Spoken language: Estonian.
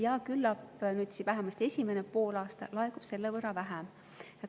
Ja küllap vähemasti esimesel poolaastal laekub selle võrra vähem.